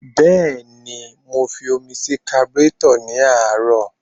Bẹ́ẹ̀ni, mo fi omi sí kaburétọ̀ ní àárọ̀.